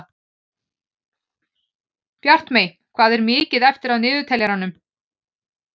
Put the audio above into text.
Bjartmey, hvað er mikið eftir af niðurteljaranum?